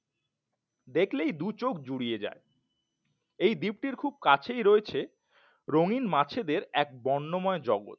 দেখলেই দুচোখ জুড়িয়ে যায় এই দীপ্তির খুব কাছেই রয়েছে রঙিন মাছ এদের এক বর্ণময় জগৎ